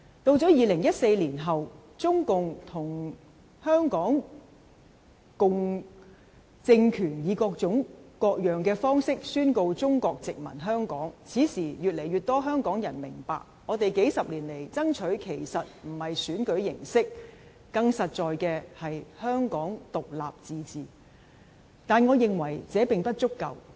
到了2014年後，中共與港共政權以各種各樣的方法宣告中國殖民香港，此時越多香港人明白，我們幾十年來爭取的其實不是選舉形式，更實在的是香港獨立自治，但我認為這並不足夠。